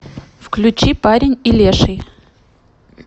включи парень и леший